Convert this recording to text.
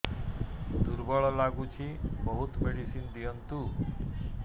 ଦୁର୍ବଳ ଲାଗୁଚି ବହୁତ ମେଡିସିନ ଦିଅନ୍ତୁ